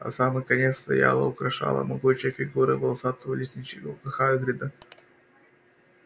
а самый конец стояла украшала могучая фигура волосатого лесничего хагрида